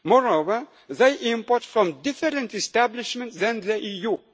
only minimal quantities. Moreover, they import from different